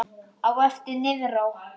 Á eftir niðrá